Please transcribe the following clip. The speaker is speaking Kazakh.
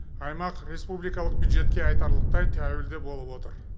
аймақ республикалық бюджетке айтарлықтай тәуелді болып отыр